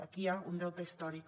aquí hi ha un deute històric